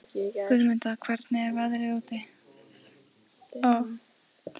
Guðmunda, hvernig er veðrið úti?